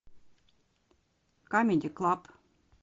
камеди клаб